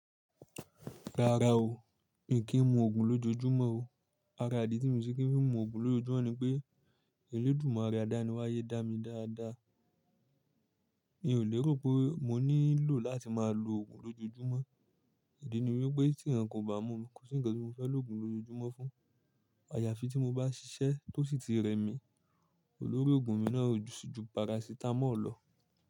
Rárá o, mi kì í mu òògùn lójojúmọ́ o. Ara idí tí mo ṣe kì í fi mu òògùn lójojúmọ́ ni pé, èlẹ́dùmare adání wá yé dá mi dáadáa. Mi ò lérò pé mo nílò láti máa lo òògùn lójojúmọ́. Idi ni wípé tí ẹranko bà mú mi, kò sí ǹkan tí mo fẹ́ lòògùn lójojúmọ́ fún. Àyàfi tí mo bá ṣiṣẹ́ tó sì ti rẹ mi, olórí òògùn mi náà o ju sì ju parasitamọ́ọ̀ lọ.